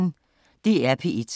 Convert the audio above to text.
DR P1